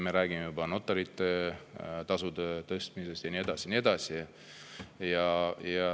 Me räägime juba notarite tasude tõstmisest ja nii edasi.